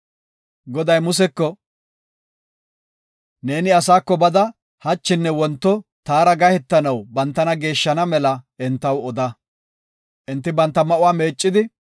Goday Museko “Neeni asaako bada hachinne wonto taara gahetanaw bantana geeshshana mela entaw oda. Enti banta ma7uwa meeccidi,